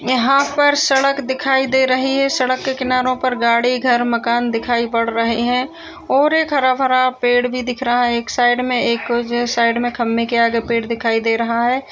यहाँ पर सड़क दिखाई दे रही है सड़क के किनारों पर गाड़ी घर मकान दिखाई पड़ रहे हैं और एक हरा-भरा पेड़ भी दिख रहा है एक साइड में एक जो है साइड में खम्बे के आगे पेड़ दिखाई दे रहा है।